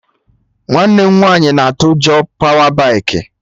Nwanne m nwaanyị na atụ ụjọ pawa baikị